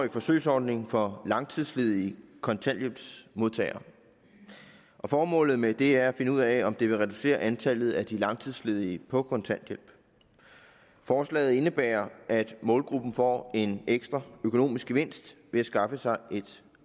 årig forsøgsordning for langtidsledige kontanthjælpsmodtagere formålet med det er at finde ud af om det vil reducere antallet af de langtidsledige på kontanthjælp forslaget indebærer at målgruppen får en ekstra økonomisk gevinst ved at skaffe sig et